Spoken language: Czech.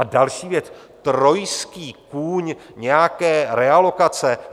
A další věc, trojský kůň nějaké realokace?